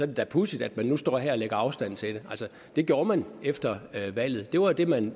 det da pudsigt at man nu står her og lægger afstand til det det gjorde man efter valget det var det man